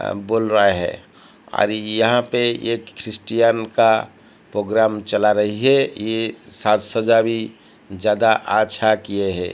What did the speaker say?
बोल रहा है अरे यहां पे एक क्रिश्चियन का प्रोग्राम चल रही है ये साथ सजा भी ज्यादा आच्छा किए हैं।